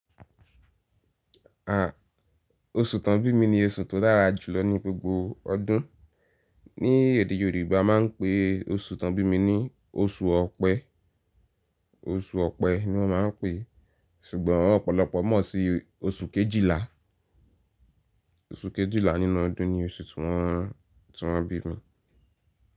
À, oṣù tó ń bí mi ni oṣù tó dára jùlọ ní gbogbo ọdún. Ni èdè Yorùbá a ma ń pe oṣù tó ń bí mi ní oṣù Ọ̀pẹ. Oṣù Ọ̀pẹ ni wọ́n ma ń pè é, ṣùgbọ́n ọ̀pọ̀lọpọ̀ mọ̀ sí oṣù Kejìlá. Oṣù Kejìlá nínú ọdún ni oṣù tí wọ́n, tí wọ́n bí mi.